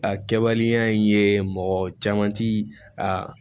A kɛbaliya in ye mɔgɔ caman ti a